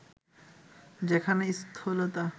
যেখানে স্থূলতা